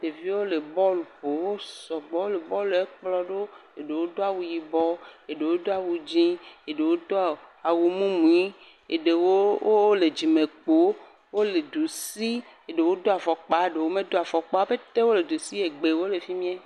Ɖeviwo le bɔlu ƒom. Wo sŋbɔ le bɔlu kplɔe ɖo eɖowo dɔawu yibɔ, eɖewo do awu dzi, eɖewo do awɔ mumu, eɖewo wole dzime kpo, wole du sii, eɖewo do afɔkpa, eɖe medo afɔkpa wo pɛtɛ wole du si eye gbewo le fi mie.